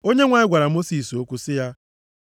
Onyenwe anyị gwara Mosis okwu sị ya,